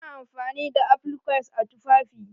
Ana amfani da applique a tufafi.